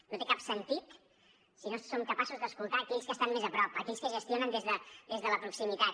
no té cap sentit si no som capaços d’escoltar aquells que estan més a prop aquells que gestionen des de la proximitat